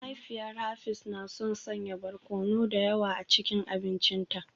Mahaifiyar Hafiz na son sanya barkono da yawa a cikin abincinta